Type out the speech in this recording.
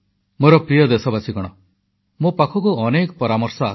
ମୋର ପ୍ରିୟ ଦେଶବାସୀ ମୋ ପାଖକୁ ଅନେକ ପରାମର୍ଶ ଆସେ